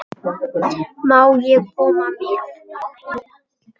Annars gerðist ekki margt.